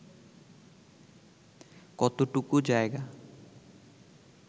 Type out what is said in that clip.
কতটুকু জায়গা